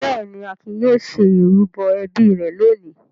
Bẹ́ẹ̀ ni, Akin yóò ṣe ìrúbọ ẹbí rẹ̀ lónìí.